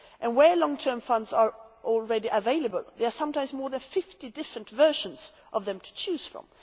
Where long term funds are already available, there are sometimes more than fifty different versions of them to choose from.